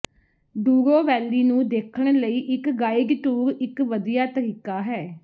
ਡੂਰੋ valley ਨੂੰ ਦੇਖਣ ਲਈ ਇੱਕ ਗਾਈਡ ਟੂਰ ਇੱਕ ਵਧੀਆ ਤਰੀਕਾ ਹੈ